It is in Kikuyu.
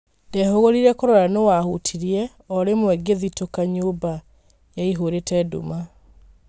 Ndehũgũrĩre kũrora nũũwahutirĩe, orĩmwe ngĩthĩtũka nyũmba yaihũrĩte nduma.